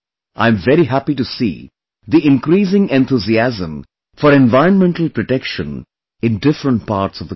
I am very happy to see the increasing enthusiasm for environmental protection in different parts of the country